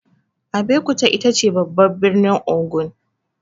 Abeokuta itace babban birnin Ogun.